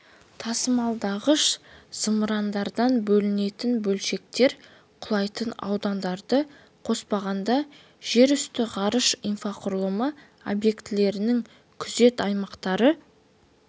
тасымалдағыш зымырандардан бөлінетін бөлшектер құлайтын аудандарды қоспағанда жерүсті ғарыш инфрақұрылымы объектілерінің күзет аймақтары